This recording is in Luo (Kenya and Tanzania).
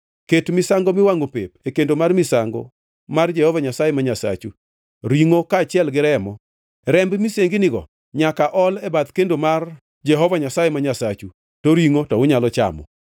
Ket misango miwangʼo pep e kendo mar misango mar Jehova Nyasaye ma Nyasachu, ringʼo kaachiel gi remo. Remb misenginigo nyaka ol e bath kendo mar Jehova Nyasaye ma Nyasachu, to ringʼo to unyalo chamo.